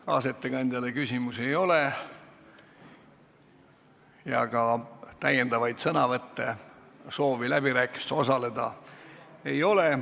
Kaasettekandjale küsimusi ei ole ja ka täiendavaid sõnavõtte, soovi läbirääkimistel osaleda ei ole.